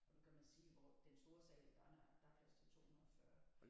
Og nu kan man sige hvor den store sal der er der der er plads til 240